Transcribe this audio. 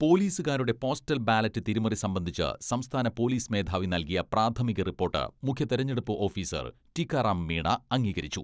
പോലീസുകാരുടെ postal ballot തിരിമറി സംബന്ധിച്ച് സംസ്ഥാന പോലീസ് മേധാവി നൽകിയ പ്രാഥമിക റിപ്പോട്ട് മുഖ്യ തെരഞ്ഞെടുപ്പ് ഓഫീസർ ടീക്കാറാം മീണ അംഗീകരിച്ചു.